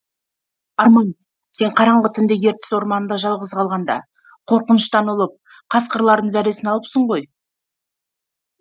арман сен қараңғы түнде ертіс орманында жалғыз қалғанда қорқыныштан ұлып қасқырлардың зәресін алыпсың ғой